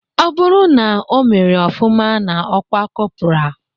Ọ bụrụ na omere ofụma n'ọkwa kọpra